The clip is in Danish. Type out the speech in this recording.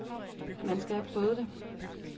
Man skal have prøvet det.